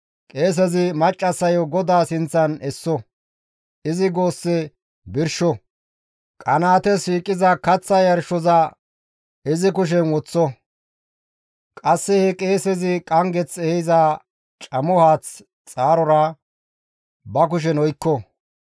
Qeesezi maccassayo GODAA sinththan esso; izi goosse birsho; qanaates shiiqiza kaththa yarshoza izi kushen woththo; qasse he qeesezi qanggeth ehiza camo haath xaarora ba kushen oykko.